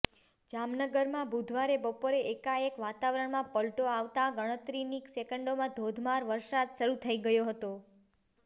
જામનગરમાં બુધવારે બપોરે એકાએક વાતાવરણમાં પલટો આવતા ગણતરીની સેકન્ડમાં ધોધમાર વરસાદ શરૂ થઈ ગયો હતો